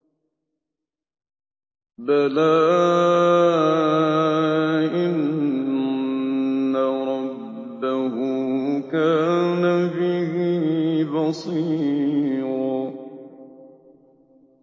بَلَىٰ إِنَّ رَبَّهُ كَانَ بِهِ بَصِيرًا